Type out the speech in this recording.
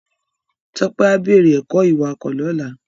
Tope á bèrè èkò iwákò lòlá